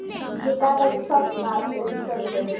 Ég gat ekki sofnað um kvöldið.